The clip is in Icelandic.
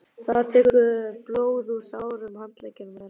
Það lekur blóð úr sárum handleggjum þeirra.